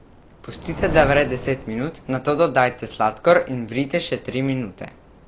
Pustite, da vre deset minut, nato dodajte sladkor in vrite še tri minute.